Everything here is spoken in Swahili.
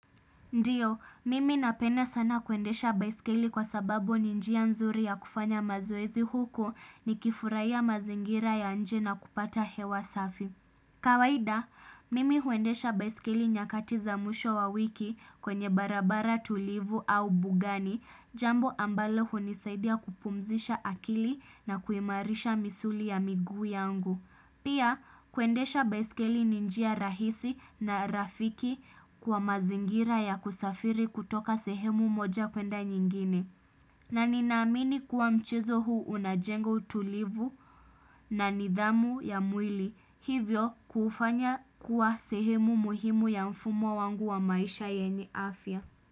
Ndiyo, mimi napenda sana kwendesha baisikeli kwa sababu ninjia nzuri ya kufanya mazoezi huko ni kifuraiya mazingira ya nje na kupata hewa safi. Kawaida, mimi huendesha baisikeli nyakatiza mwisho wa wiki kwenye barabara tulivu au bugani, jambo ambalo hunisaidia kupumzisha akili na kuimarisha misuli ya miguu yangu. Pia kwendesha baiskeli ninjia rahisi na rafiki kwa mazingira ya kusafiri kutoka sehemu moja kwenda nyingine. Na ninamini kuwa mchezo huu unajenga tulivu na nidhamu ya mwili. Hivyo kufanya kuwa sehemu muhimu ya mfumo wangu wa maisha yenye afya.